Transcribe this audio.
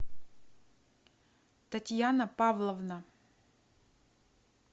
татьяна павловна